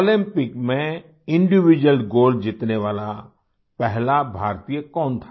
Olympic में individual gold जीतने वाला पहला भारतीय कौन था